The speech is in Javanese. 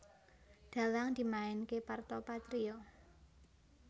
Dhalang dimainké Parto Patrio